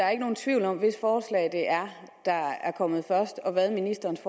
er nogen tvivl om hvis forslag der er kommet først og hvad ministerens